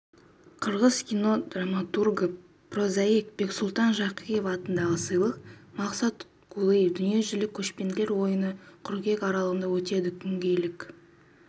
қырғыз кино-драматургі прозаик бексұлтан жакиев атындағы сыйлық мақсат кулуев дүниежүзілік көшпенділер ойыны қыркүйек аралығында өтеді күнгейлік